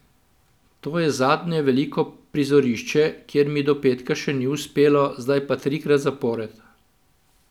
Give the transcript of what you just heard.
To je zadnje veliko prizorišče, kjer mi do petka še ni uspelo, zdaj pa trikrat zapored.